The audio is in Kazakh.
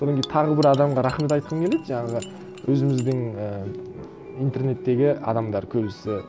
содан кейін тағы бір адамға рахмет айтқым келеді жаңағы өзіміздің і интернеттегі адамдар көбісі